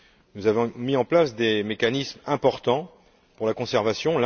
Nous avons mis en place des mécanismes importants pour la conservation.